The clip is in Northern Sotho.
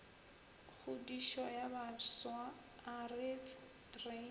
kgodišo ya bafsa aretse re